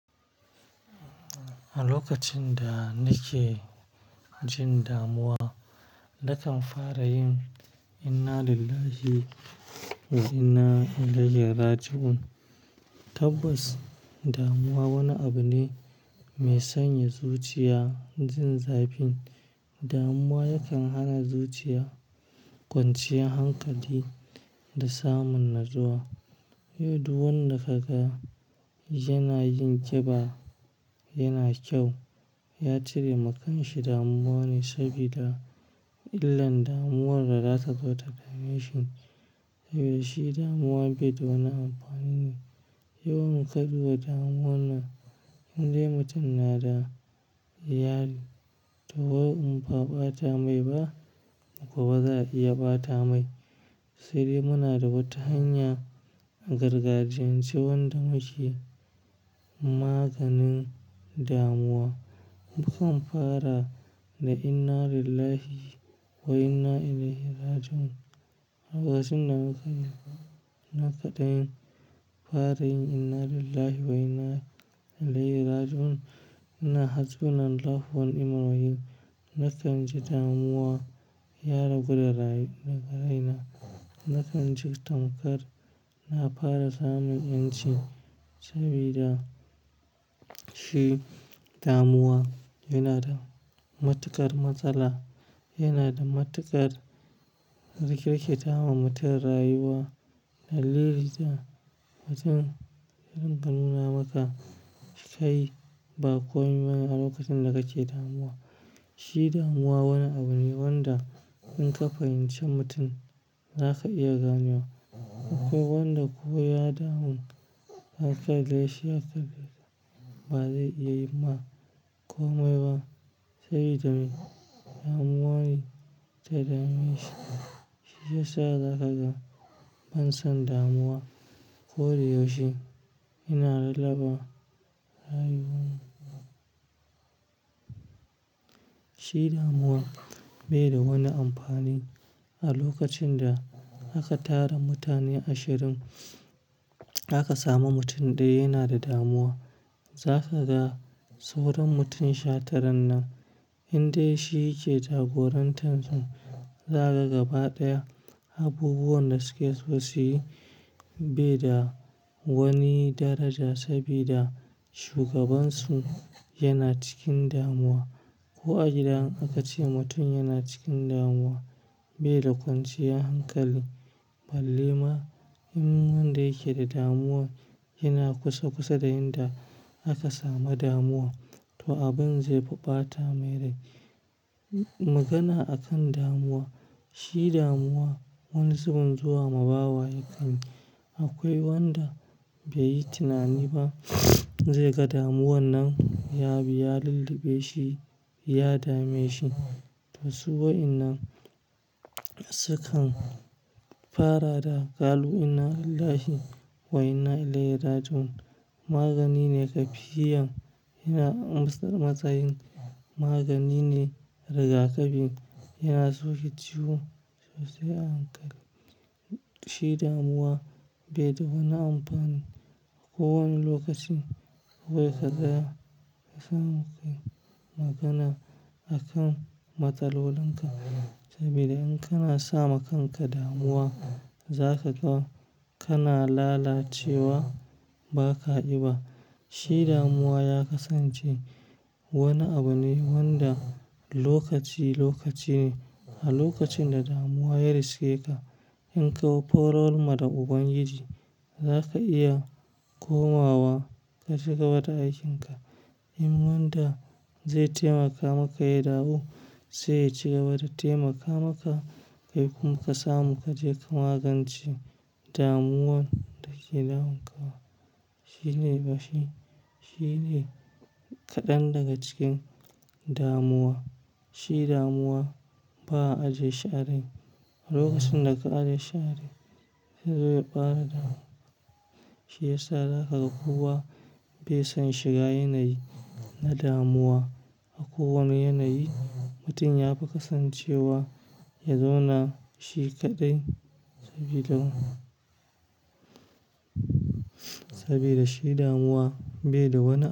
A lokacin da nake jin damuwa, nakan fara yin "Inna lillahi wa inna ilaihi raji'un". Tabbas damuwa wani abu ne mai sanya zuciya jin zafin. Damuwa yakan hana zuciya kwanciyar hankali da samun natsuwa. Yau, duk wanda ka ga yana yin ƙiba, yana kyau, ya cire makanshi damuwa ne, sabida illan damuwar da za ta zota da meshi. Saboda shi damuwa bai da wani amfani ne. Yawan kaɗuwar damuwa na indaimutum yana da yari. To, yau in ba a ɓata mai ba gobe za a iya ɓata mai. Sai dai muna da wata hanya gargajiyance wanda muke maganin damuwa. Mukan fara da "Inna lillahi wa inna ilaihi raji'un". Lokacin da muka yi na kaɗan fara yin "Inna lillahi wa inna ilaihi raji'un", ina hasbunan lahu wani mal wakil. Nakan ji damuwa ya ragu da raye na kai na. Nakan ji thankar na fara samun yin ci, sabida shi damuwa yana da matuƙar matsala. Yana da matuƙar rikirki ta ma mutum rayuwa. Na lili ta mutum adinga nuna maka skai ba komai bane a lokacin da kake damuwa. Shi damuwa wani abu ne wanda in ka fahimci mutum, za ka iya ganewa. Akwai wanda ko ya damu haka dai, shi haka ba zai iya yi ma komai ba, sabida me? Damuwa ne ta dame shi. Shi yasa za ka ga ban son damuwa ko da yau she ina lallaɓa rayuwa na. Shi damuwa bai da wani amfani. A lokacin da aka tara mutane ashirin, da ka samu mutum ɗaya yana da damuwa, za ka ga sauran mutum shataran nan. Indai shi yake jagorantar su, za ka ga ba ɗaya abubuwan da suke so su yi bai da wani daraja sabida shugabansu yana cikin damuwa. Ko a gida aka ce mutum yana cikin damuwa bai da kwanciyar hankali. Balle ma in wanda yake da damuwa yana kusa-kusa da inda aka samu damuwa, to abin zai fi ɓata mai rai. Magana akan damuwa. Shi damuwa wani zubun zuwa ma bawa yake yi. Akwai wanda bai yi tunani ba zai ga damuwan nan yabi ya lulluɓe shi, ya dame shi. Don su wa'innan sukan fara da ƙalu innalillahi wa'inna ilaihi raji'un. Magani ne zakiyan ina matsayin magani ne, riga kafi yana toshe ciwo sosai ahankali se damuwa bai da wani amfani ko wani lokaci. Se kaga son magana a kan matsalolin ka sabida in kana sa ma kanka damuwa za kaga kana lalacewa baka ƙiba. Shi damuwa ya kasance wani abu ne wanda lokaci, lokaci ne. A lokacin da damuwa ya riske ka in ka korar ma ubangiji da ka iya komawa ka cigaba da aikin ka in wanda de temaka maka ya dawo, se ya cigaba da temaka maka. Kai kuma ka samu kaje ka magance damuwan da ke damun ka. Shi ne bashi, shi ne kaɗan daga cikin damuwa. Shi damuwa ba'a ajiye shi a rai lokacin da ka ajiye shi a rai de zo ya ƙara damun shiyasa da kaga kowa bai son shiga yanayi na damuwa. A ko wani yanayi mutum yafi kasancewa ya zauna shi kaɗai sabida sabida shi damuwa bai da wani.